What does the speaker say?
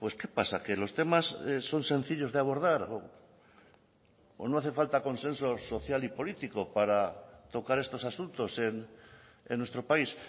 qué pasa que los temas son sencillos de abordar o no hace falta consenso social y político para tocar estos asuntos en nuestro país